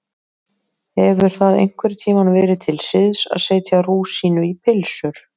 Hefur það einhvern tíma verið til siðs að setja rúsínu í pylsur?